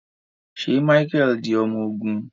Ṣe Micheal di ọmọ ogun?